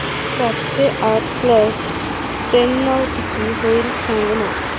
सातशे आठ प्लस त्र्याण्णव किती होईल सांगना